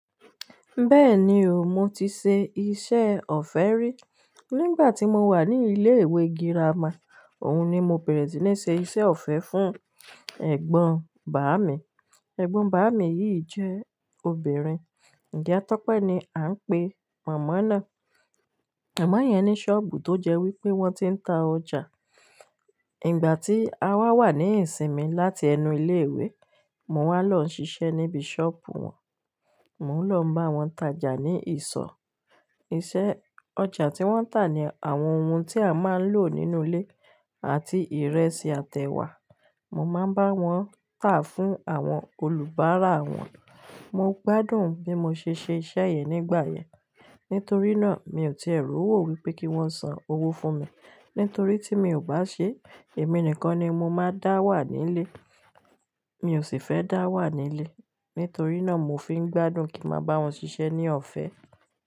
Bẹ́ẹ̀ni o, mo ti ṣe iṣẹ́ ọ̀fẹ́ rí. Nígbà tí mo wà ní ilé ìwé girama, òun ni mo bẹ̀rẹ̀ sí ní ṣe iṣẹ́ ọ̀fẹ́ fún ẹ̀gbọ́n bàámi. Ẹ̀gbọ́n bàámi yìí jẹ́ obìnrin. Iya Tope ni à ń pe mọ̀mọ́ náà. Mama yẹn ní ṣọ́ọ̀bù tó jẹ́ wípé wọ́n ti ń ta ọjà. Ìgbà tí a wá wà ní ìsinmi láti ẹnu ilé ìwé, mo wá lọ ń ṣiṣẹ́ níbi ṣọ́ọ̀bù wọn. Mò ń lọ bá wọn tajà ní ìsọ̀. Iṣẹ́ ọjà tí wọ́n ń tà ni àwọn ohun tí a máa ń lò nínú ilé àti ìrẹsì àti ewà. Mo máa ń bá wọn tà fún àwọn olùbáárà wọn. Mo gbádùn bí mo ṣe ṣe iṣẹ́ yìí nígbà yẹn. Nítorí náà mi ò ti ẹ̀ rò wò pé kín wọ́n sanwó fún mi nítorí tí mi ò bá ṣe, èmi nìkan ni mo máa dá wà nílé. Mi ò sì fẹ́ dá wà nílé. Nítorí náà, mo fi ń gbádùn kí n máa bá wọn ṣiṣẹ́ ní ọ̀fẹ́.